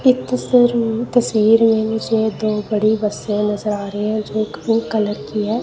इस तस्वीर में इस तस्वीर में मुझे दो बड़ी बसे नजर आ रही है जो ग्रीन कलर की है।